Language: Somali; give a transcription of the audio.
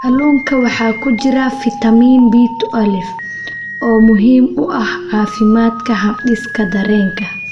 Kalluunka waxaa ku jira fitamiin B12, oo muhiim u ah caafimaadka habdhiska dareenka.